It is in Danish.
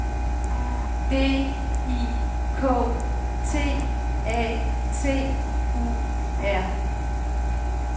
D I K T A T U R